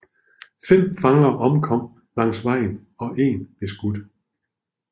Fem fanger omkom langs vejen og én blev skudt